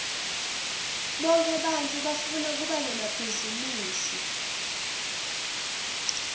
bonke bantfu bafuna kuba nemabhizinisi